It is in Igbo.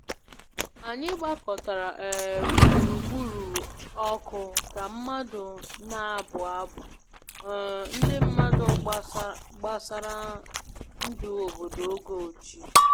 Anyị gbakọtara um gburugburu ọkụ ka mmadụ na-abụ abụ um ndị mmadụ gbasara ndụ obodo oge ochie